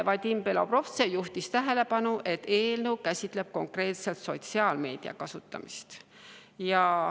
Vadim Belobrovtsev juhtis tähelepanu, et eelnõu käsitleb konkreetselt sotsiaalmeedia kasutamist.